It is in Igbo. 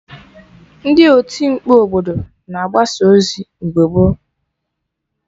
Ndị oti mkpu obodo na-agbasa ozi mgbe gboo